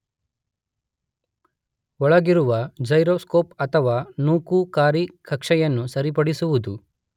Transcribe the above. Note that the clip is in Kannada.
ಒಳಗಿರುವ ಜೈರೋಸ್ಕೋಪ್ ಅಥವಾ ನೂಕುಕಾರಿ ಕಕ್ಷೆಯನ್ನು ಸರಿಪಡಿಸುವುದು.